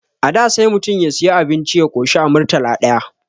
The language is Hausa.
A da sai mutum ya siyu abinci ya koshi a Murtala ɗaya